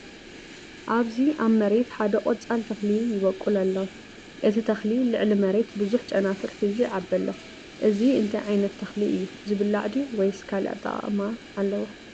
ኣብዚ ኣብ መሬት ሓደ ቆፃል ተኽሊ ይበቁል ኣሎ። እቲ ተኽሊ ልዕሊ መሬት ብዙሕ ጨናፍር ሒዙ ይዓቢ ኣሎ። እዚ እንታይ ዓይነት ተኽሊ እዩ? ዝብላዕ ድዩ ወይስ ካልእ ኣጠቓቕማ ኣለዎ?